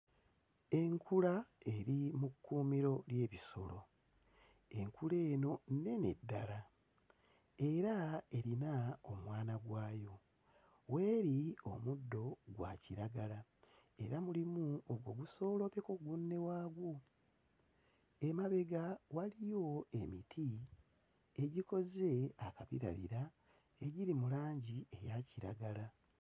Enkula eri mu kkuumiro ly'ebisolo. Enkula eno nnene ddala era erina omwana gwayo. W'eri omuddo gwa kiragala era mulimu ogusooloobyeko gunne waagwo. Emabega waliyo emiti egikoze akabirabira, egiri mu langi eya kiragala.